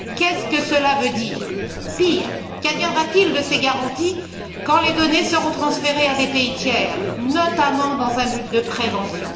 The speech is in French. Qu'est ce que cela veut dire? Pire, qu'adviendra t il de ces garanties quand les données seront transférées à des pays tiers, notamment dans un but de prévention?